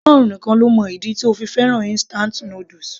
Ọlọ́run nìkan ló mọ ìdí tó fi fẹ́ràn instant noodles